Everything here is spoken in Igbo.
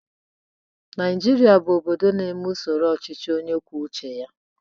Naijiria bụ obodo na-eme usoro ọchịchị onye kwuo uche ya.